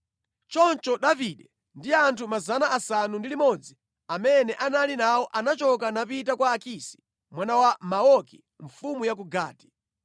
Choncho Davide ndi anthu 600 amene anali nawo anachoka napita kwa Akisi mwana wa Maoki mfumu ya ku Gati.